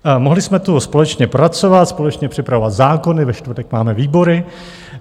Mohli jsme tu společně pracovat, společně připravovat zákony, ve čtvrtek máme výbory.